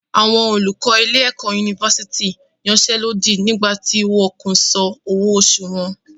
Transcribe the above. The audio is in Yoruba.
Àwọn olùkọ ilé-ẹ̀kọ́ yunifásítì yansẹ́lódì nígbà tí wọn kò san owó oṣù wọn.